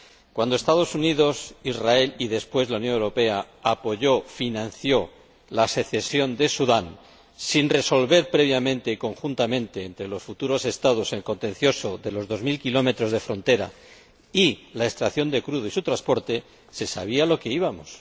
Cuando los Estados Unidos, Israel, y después la Unión Europea, apoyaron, financiaron, la secesión de Sudán sin que se resolviera previa y conjuntamente entre los futuros Estados el contencioso de los dos mil kilómetros de frontera y la extracción de crudo y su transporte, se sabía a lo que íbamos.